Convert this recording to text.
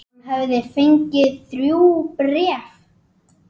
Hann hafði fengið þrjú bréf.